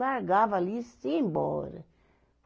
Largava ali e ia embora.